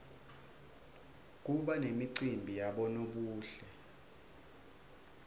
kuba nemacimbi yabonobuhle